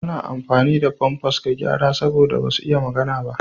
Ana amfani da famfas ga yara saboda basu iya magana ba.